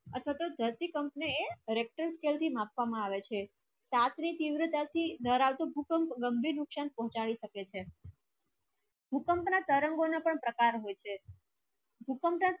અથવા થી ધરતીકંપ ને richter scale થી માપવા માં આવે છે સાથ ની ત્રિવતા થી દારાવતુ ભૂકંપ ગંભીર નુક્સાન પોચાડે સખે છે ભૂકંપ ના તરંગો ના પણ પ્રકાર હોય છે ભૂકંપ ના